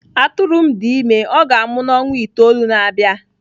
Atụrụ m dị ime, ọ ga-amụ n'ọnwa itoolu na-abịa.